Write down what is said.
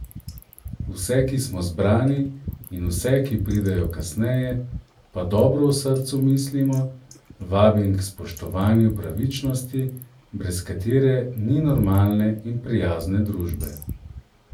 Vse, ki smo zbrani, in vse, ki pridejo kasneje, pa dobro v srcu mislimo, vabim k spoštovanju pravičnosti, brez katere ni normalne in prijazne družbe.